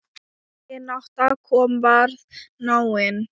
Vinátta okkar varð náin.